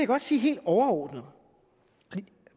godt sige helt overordnet